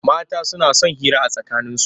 Mata suna son hira a tsakaninsu.